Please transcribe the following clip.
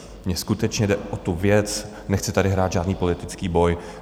Mně skutečně jde o tu věc, nechci tady hrát žádný politický boj.